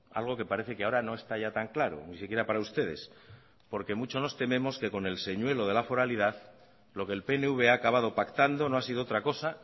algo que parece que ahora no está ya tan claro ni siquiera para ustedes porque mucho nos tememos que con el señuelo de la foralidad lo que el pnv ha acabado pactando no ha sido otra cosa